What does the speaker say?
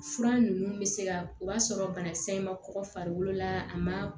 Fura ninnu bɛ se ka o b'a sɔrɔ banakisɛ in ma kɔkɔ farikolo la a ma